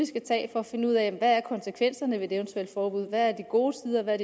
tage for at finde ud af hvad konsekvenserne ved et eventuelt forbud er hvad er de gode sider og hvad